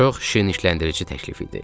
Çox şirnikləndirici təklif idi.